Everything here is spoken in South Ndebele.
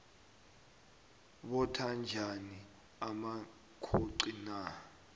botha njani amakhoxi na